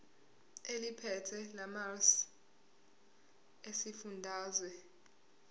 eliphethe lamarcl esifundazwe